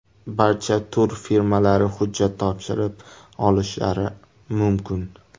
Barcha turfirmalari hujjat topshirib olishlari mumkin.